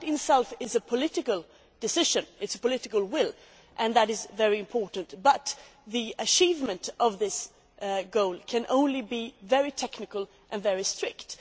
That in itself is a political decision. It shows political will, and that is very important, but the achievement of this goal can only be very technical and very strict.